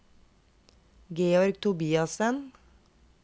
Georg Tobiassen